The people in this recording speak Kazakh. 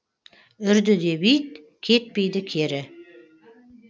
үрді деп ит кетпейді кері